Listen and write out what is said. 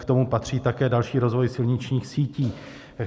k tomu patří také další rozvoj silničních sítí.